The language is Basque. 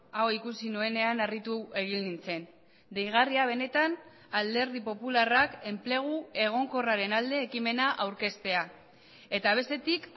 hau ikusi nuenean harritu egin nintzen deigarria benetan alderdi popularrak enplegu egonkorraren alde ekimena aurkeztea eta bestetik